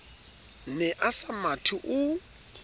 ne a sa mathe o